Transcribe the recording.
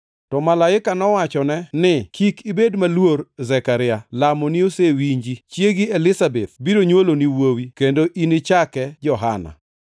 To malaika nowachone ni: “Kik ibed maluor, Zekaria; lamoni osewinji chiegi Elizabeth biro nywoloni wuowi, kendo inichake Johana.